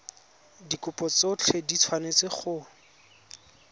dikopo tsotlhe di tshwanetse go